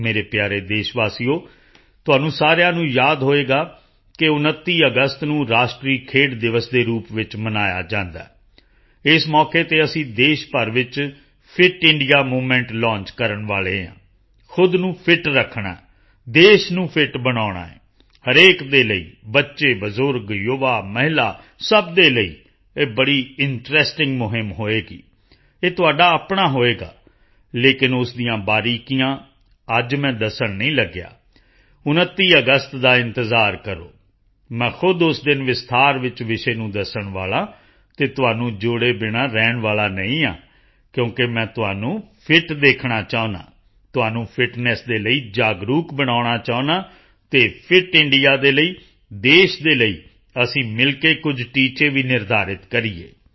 ਮੇਰੇ ਪਿਆਰੇ ਦੇਸ਼ਵਾਸੀਓ ਤੁਹਾਨੂੰ ਸਾਰਿਆਂ ਨੂੰ ਯਾਦ ਹੋਵੇਗਾ ਕਿ 29 ਅਗਸਤ ਨੂੰ ਰਾਸ਼ਟਰੀ ਖੇਡ ਦਿਵਸ ਦੇ ਰੂਪ ਵਿੱਚ ਮਨਾਇਆ ਜਾਂਦਾ ਹੈ ਇਸ ਮੌਕੇ ਤੇ ਅਸੀਂ ਦੇਸ਼ ਭਰ ਵਿੱਚ ਫਿਟ ਇੰਡੀਆ ਮੂਵਮੈਂਟ ਲੌਂਚ ਕਰਨ ਵਾਲੇ ਹਾਂ ਖੁਦ ਨੂੰ ਫਿਟ ਰੱਖਣਾ ਹੈ ਦੇਸ਼ ਨੂੰ ਫਿਟ ਬਣਾਉਣਾ ਹੈ ਹਰੇਕ ਦੇ ਲਈ ਬੱਚੇ ਬਜ਼ੁਰਗ ਯੁਵਾ ਮਹਿਲਾ ਸਭ ਦੇ ਲਈ ਇਹ ਬੜੀ ਇੰਟਰੈਸਟਿੰਗ ਮੁਹਿੰਮ ਹੋਵੇਗੀ ਇਹ ਤੁਹਾਡਾ ਆਪਣਾ ਹੋਵੇਗਾ ਲੇਕਿਨ ਉਸ ਦੀਆਂ ਬਰੀਕੀਆਂ ਅੱਜ ਮੈਂ ਦੱਸਣ ਨਹੀਂ ਲੱਗਿਆ 29 ਅਗਸਤ ਦਾ ਇੰਤਜ਼ਾਰ ਕਰੋ ਮੈਂ ਖੁਦ ਉਸ ਦਿਨ ਵਿਸਤਾਰ ਵਿੱਚ ਵਿਸ਼ੇ ਨੂੰ ਦੱਸਣ ਵਾਲਾ ਹਾਂ ਅਤੇ ਤੁਹਾਨੂੰ ਜੋੜੇ ਬਿਨਾ ਰਹਿਣ ਵਾਲਾ ਨਹੀਂ ਹਾਂ ਕਿਉਂਕਿ ਮੈਂ ਤੁਹਾਨੂੰ ਫਿਟ ਦੇਖਣਾ ਚਾਹੁੰਦਾ ਹਾਂ ਤੁਹਾਨੂੰ ਫਿਟਨੈੱਸ ਦੇ ਲਈ ਜਾਗਰੂਕ ਬਣਾਉਣਾ ਚਾਹੁੰਦਾ ਹਾਂ ਅਤੇ ਫਿਟ ਇੰਡੀਆ ਦੇ ਲਈ ਦੇਸ਼ ਦੇ ਲਈ ਅਸੀਂ ਮਿਲ ਕੇ ਕੁਝ ਟੀਚੇ ਵੀ ਨਿਰਧਾਰਿਤ ਕਰੀਏ